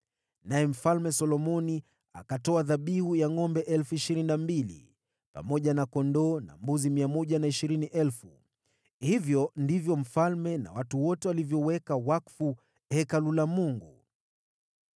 Naye Mfalme Solomoni akatoa dhabihu ya ngʼombe 22,000 pamoja na kondoo na mbuzi 120,000. Hivyo ndivyo mfalme na watu wote walivyoweka wakfu Hekalu la Mungu.